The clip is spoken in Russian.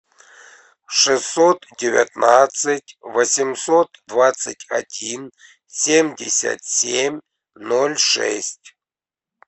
шестьсот девятнадцать восемьсот двадцать один семьдесят семь ноль шесть